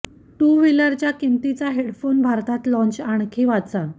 to व्हिलरच्या किंमतीचा headphone भारतात लॉंच आणखी वाचा